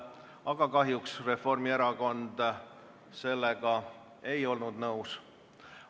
Aga kahjuks ei olnud Reformierakond sellega nõus.